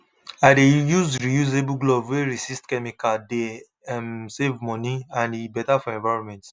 i dey use reusable glove wey resist chemicale dey um save money and e better for environment